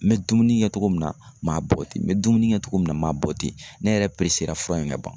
N bɛ dumuni kɛ togo min na m'a bɔgɔ ten n bɛ dumuni kɛ togo min na m'a bɔ ten. Ne yɛrɛ peresera fura in ŋa ban.